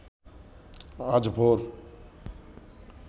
আজ ভোর